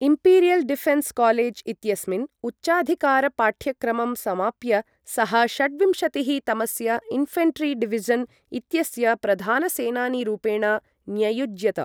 Imperial Defence College इत्यस्मिन् उच्चाधिकारपाठ्यक्रमं समाप्य, सः षड्विंशतिः तमस्य इन्फेन्ट्री डिविजन् इत्यस्य प्रधानसेनानीरूपेण न्ययुज्यत।